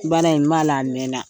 Baala in n b'a la a mɛna.